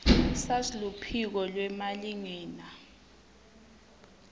sars luphiko lwemalingena